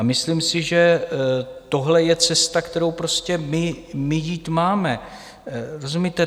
A myslím si, že tohle je cesta, kterou prostě my jít máme, rozumíte?